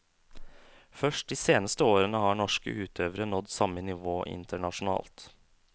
Først de seneste årene har norske utøvere nådd samme nivå internasjonalt.